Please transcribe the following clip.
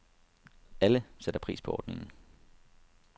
Alle sætter pris på ordningen.